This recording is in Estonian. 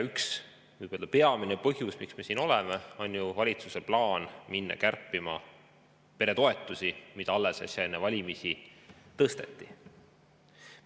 Üks peamine põhjus, miks me siin oleme, on ju valitsuse plaan minna kärpima peretoetusi, mida alles äsja, enne valimisi, tõsteti.